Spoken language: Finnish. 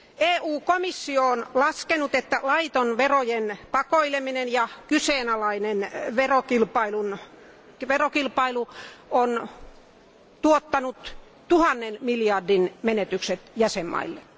EU komissio on laskenut, että laiton verojen pakoileminen ja kyseenalainen verokilpailu on tuottanut tuhannen miljardin menetykset jäsenvaltioille.